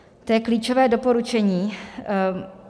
To je klíčové doporučení.